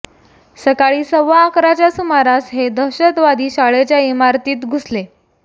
सकाळी सव्वा अकराच्या सुमारास हे दहशतवादी शाळेच्या इमारतीत घुसले